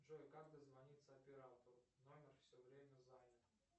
джой как дозвониться оператору номер все время занят